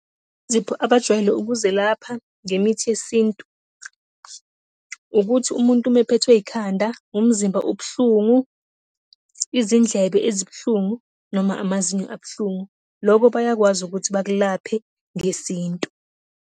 abajwayele ukuzelapha ngemithi yeSintu, ukuthi umuntu uma ephethwe ikhanda, umzimba ubuhlungu, izindlebe ezibuhlungu noma amazinyo abuhlungu. Lokho bayakwazi ukuthi bakulaphe ngeSintu.